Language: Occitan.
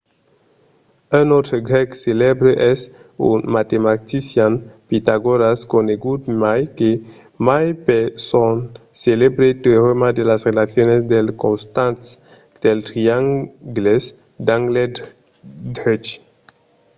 un autre grèc celèbre es un matematician pitagòras conegut mai que mai per son celèbre teorèma sus las relacions dels costats dels triangles d'angle drech